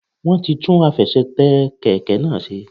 Wọ́n ti tún àfesètè kèké náà se